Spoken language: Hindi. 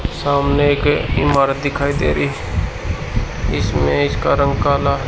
सामने एक इमारत दिखाई दे रही इसमें इसका रंग काला--